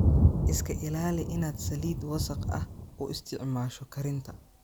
Iska ilaali inaad saliid wasakh ah u isticmaasho karinta.